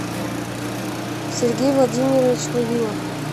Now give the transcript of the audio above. сергей владимирович вавилов